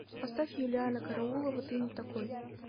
поставь юлианна караулова ты не такой